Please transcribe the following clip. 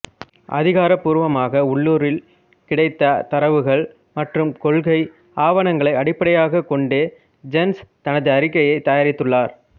அதிகாரபூர்வமாக உள்ளூரில் கிடைத்த தரவுகள் மற்றும் கொள்கை ஆவணங்களை அடிப்படையாக கொண்டே ஜென்ஸ் தனது அறிக்கையைத் தயாரித்துள்ளார்